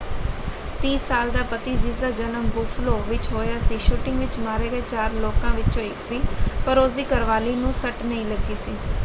30 ਸਾਲ ਦਾ ਪਤੀ ਜਿਸ ਦਾ ਜਨਮ ਬੁੱਫਲੋ ਵਿੱਚ ਹੋਇਆ ਸੀ ਸ਼ੂਟਿੰਗ ਵਿੱਚ ਮਾਰੇ ਗਏ ਚਾਰ ਲੋਕਾਂ ਵਿੱਚੋਂ ਇੱਕ ਸੀ ਪਰ ਉਸ ਦੀ ਘਰਵਾਲੀ ਨੂੰ ਸੱਟ ਨਹੀਂ ਲੱਗੀ ਸੀ।